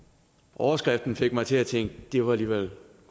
overskriften fik mig til at tænke det var alligevel